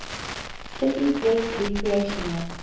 city's best recreational